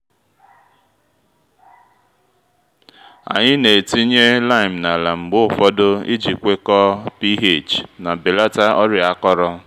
anyị na-etinye lime n’ala mgbe ụfọdụ iji kwekọọ ph ma belata ọrịa akọrọ